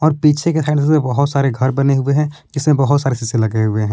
पीछे के साइड में बहोत सारे घर बने हुए है इसमें बहोत सारे शीशे लगे हुए--